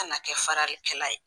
Kana kɛ faralikɛla ye